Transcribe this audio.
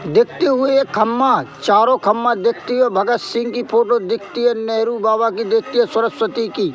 देखते हुए ये खम्मा चारों खम्मा देखती हुए भगत सिंह की फोटो दिखती है नेहरू बाबा की देखती है सरस्वती की--